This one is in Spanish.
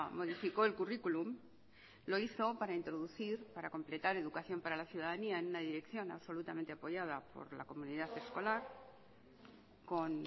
modificó el curriculum lo hizo para introducir para completar educación para la ciudadanía en una dirección absolutamente apoyada por la comunidad escolar con